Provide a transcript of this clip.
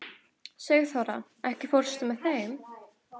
Sigþóra, ekki fórstu með þeim?